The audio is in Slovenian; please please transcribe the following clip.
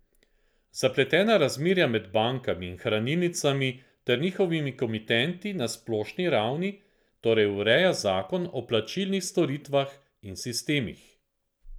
Zapletena razmerja med bankami in hranilnicami ter njihovimi komitenti na splošni ravni torej ureja zakon o plačilnih storitvah in sistemih.